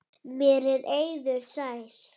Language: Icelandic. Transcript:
Mér er eiður sær.